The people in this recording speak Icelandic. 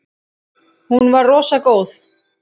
Hún var rosa góð.